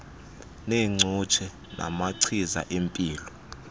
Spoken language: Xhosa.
neengcutshe namagcisa empilo